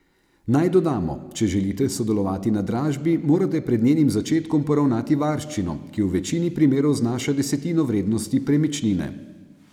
Naj dodamo, če želite sodelovati na dražbi, morate pred njenim začetkom poravnati varščino, ki v večini primerov znaša desetino vrednosti premičnine.